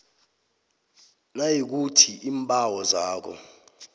nayikuthi iimbawo zakho